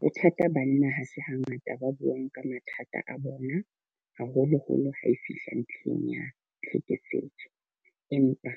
Bothata banna ha se ha ngata ba buang ka mathata a bona. Haholoholo ha e fihla ntlheng ya tlhekefetso. Empa